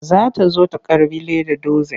Za ta zo ta karɓi lead dozin.